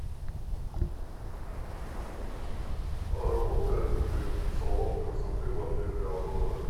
работает ли салон красоты в отеле аврора